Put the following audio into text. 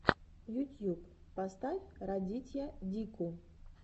ютьюб поставь радитья дику